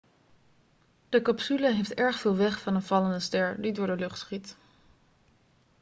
de capsule heeft erg veel weg van een vallende ster die door de lucht schiet